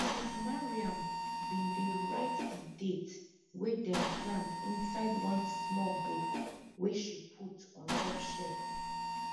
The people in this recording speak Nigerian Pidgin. sis mariam bin dey write di date wey dem plant inside one small book wey she put on top shef